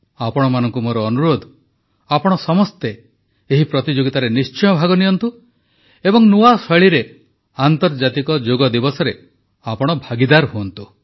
ଆପଣମାନଙ୍କୁ ମୋର ଅନୁରୋଧ ଆପଣ ସମସ୍ତେ ଏହି ପ୍ରତିଯୋଗିତାରେ ନିଶ୍ଚୟ ଭାଗ ନିଅନ୍ତୁ ଏବଂ ନୂଆ ଶୈଳୀରେ ଆନ୍ତର୍ଜାତିକ ଯୋଗ ଦିବସରେ ଆପଣ ଭାଗୀଦାର ହୁଅନ୍ତୁ